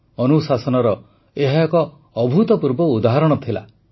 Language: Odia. ଅନୁଶାସନର ଏହା ଏକ ଅଭୂତପୂର୍ବ ଉଦାହରଣ ଥିଲା